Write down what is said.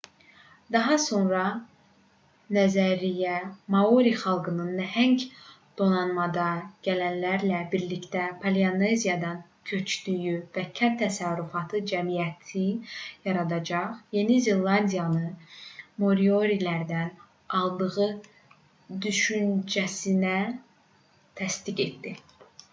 daha sonra nəzəriyyə maori xalqının nəhəng donanmada gələnlərlə birlikdə polineziyadan köçdüyü və kənd təsərrüfatı cəmiyyəti yaradaraq yeni zelandiyanı moriorilərdən aldığı düşüncəsini təsdiq etdi